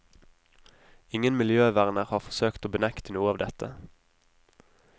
Ingen miljøverner har forsøkt å benekte noe av dette.